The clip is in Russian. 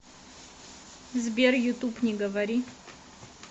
сбер ютуб не говори